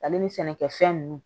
Ale ni sɛnɛkɛfɛn nunnu